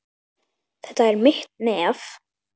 Þetta er mitt nef.